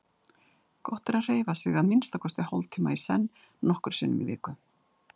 Gott er að hreyfa sig að minnsta kosti hálftíma í senn nokkrum sinnum í viku.